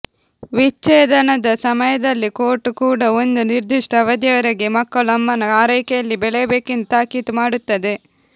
ವಿಚ್ಛೇದನದ ಸಮಯದಲ್ಲಿ ಕೋರ್ಟು ಕೂಡ ಒಂದು ನಿರ್ಧಿಷ್ಟ ಅವಧಿಯವರೆಗೆ ಮಕ್ಕಳು ಅಮ್ಮನ ಆರೈಕೆಯಲ್ಲಿ ಬೆಳೆಯಬೇಕೆಂದು ತಾಕೀತು ಮಾಡುತ್ತದೆ